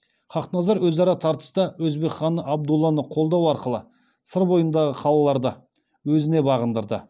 хақназар өзара тартыста өзбек ханы абдулланы қолдау арқылы сыр бойындағы қалаларды өзіне бағындырды